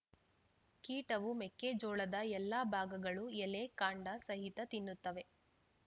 ಕೀಟವು ಮೆಕ್ಕೆಜೋಳದ ಎಲ್ಲಾ ಭಾಗಗಳು ಎಲೆ ಕಾಂಡ ಸಹಿತ ತಿನ್ನುತ್ತವೆ